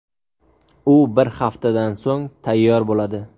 U bir haftadan so‘ng tayyor bo‘ladi”.